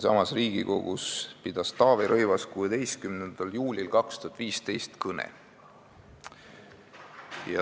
Taavi Rõivas pidas siinsamas Riigikogus 16. juulil 2015 kõne.